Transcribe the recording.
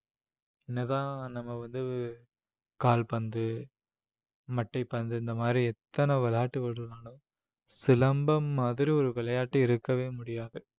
என்னதான் நம்ம வந்து கால்பந்து மட்டைப் பந்து இந்த மாதிரி எத்தன விளையாட்டுகள் இருந்தாலும் சிலம்பம் மாதிரி ஒரு விளையாட்டு இருக்கவே முடியாது